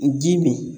Dimi